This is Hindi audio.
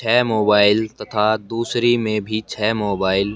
छै मोबाइल तथा दुसरे में भी छै मोबाइल --